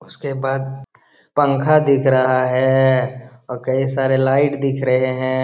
उसके बाद पंखा दिख रहा है और कई सारे लाइट दिख रहे हैं।